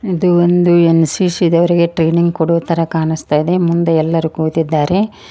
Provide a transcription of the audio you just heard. ಇದು ಒಂದು N C C ದವರಿಗೆ ಟ್ರೈನಿಂಗ್ ಕೊಡೊ ತರ ಕಾಣಸ್ತಾಇದೆ ಮುಂದೆ ಎಲ್ಲರು ಕೂತಿದ್ದಾರೆ.